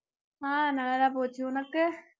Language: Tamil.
ஆஹ் நல்லாதான் போச்சு உனக்கு